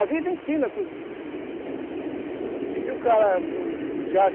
A vida ensina tudo isso para gente. E se o cara